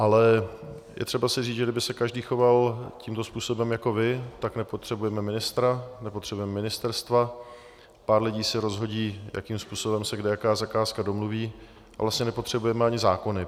Ale je třeba si říct, že kdyby se každý choval tímto způsobem jako vy, tak nepotřebujeme ministra, nepotřebujeme ministerstva, pár lidí si rozhodí, jakým způsobem se kde jaká zakázka domluví, a vlastně nepotřebujeme ani zákony.